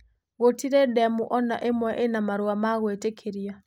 Gũtirĩ demũ o na imwe ina marũa ma gwĩtĩkĩria.